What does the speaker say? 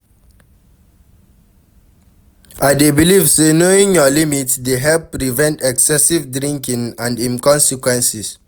I dey believe say knowing your limit dey help prevent excessive drinking and im consequences.